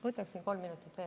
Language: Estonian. Võtaksin kolm minutit veel.